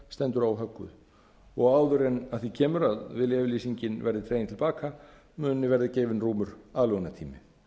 stendur óhögguð og áður en að því kemur að viljayfirlýsingin verði dregin til baka muni verða gefinn rúmur aðlögunartími